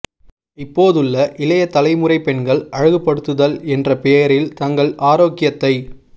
இப்போதுள்ள இளைய தலைமுறை பெண்கள் அழகுபடுத்துதல் என்ற பெயரில் தங்கள் ஆரோக்கியத்தைக்